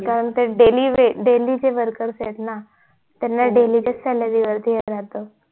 कारण ते daily चे worker येत ना त्याना daily salary वर